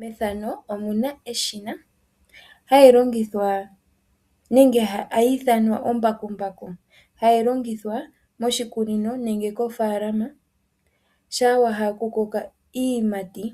Methano omuna eshina hali longithwa nenge hayi ithanwa ombakumbaku hayi longithwa moshikunino nenge kofaalama shama wala okukoka iiyimati